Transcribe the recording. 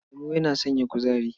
Lemo yana sanya kuzari.